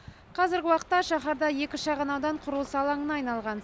қазіргі уақытта шаһарда екі шағын аудан құрылыс алаңына айналған